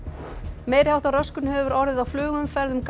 meiri háttar röskun hefur orðið á flugumferð um